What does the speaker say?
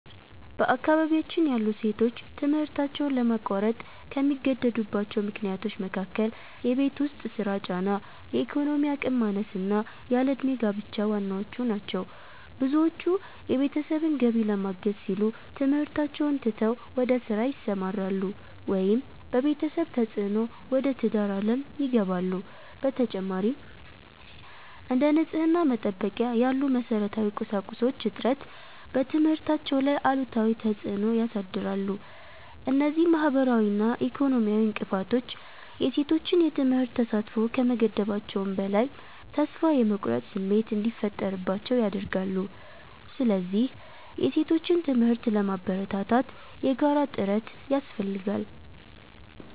በአካባቢያችን ያሉ ሴቶች ትምህርታቸውን ለማቋረጥ ከሚገደዱባቸው ምክንያቶች መካከል የቤት ውስጥ ሥራ ጫና፣ የኢኮኖሚ አቅም ማነስና ያለ ዕድሜ ጋብቻ ዋናዎቹ ናቸው። ብዙዎቹ የቤተሰብን ገቢ ለማገዝ ሲሉ ትምህርታቸውን ትተው ወደ ሥራ ይሰማራሉ፤ ወይም በቤተሰብ ተፅዕኖ ወደ ትዳር ዓለም ይገባሉ። በተጨማሪም፥ እንደ ንጽሕና መጠበቂያ ያሉ መሠረታዊ ቁሳቁሶች እጥረት በትምህርታቸው ላይ አሉታዊ ተፅዕኖ ያሳድራል። እነዚህ ማኅበራዊና ኢኮኖሚያዊ እንቅፋቶች የሴቶችን የትምህርት ተሳትፎ ከመገደባቸውም በላይ፥ ተስፋ የመቁረጥ ስሜት እንዲፈጠርባቸው ያደርጋሉ። ስለዚህ የሴቶችን ትምህርት ለማበረታታት የጋራ ጥረት ያስፈልጋል።